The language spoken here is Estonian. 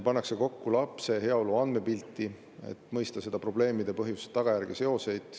Pannakse kokku lapse heaolu andmepilti, et mõista probleemide põhjust, tagajärge ja seoseid.